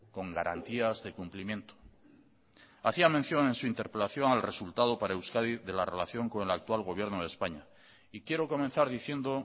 con garantías de cumplimiento hacía mención en su interpelación al resultado para euskadi de la relación con el actual gobierno de españa y quiero comenzar diciendo